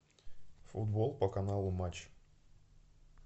футбол по каналу матч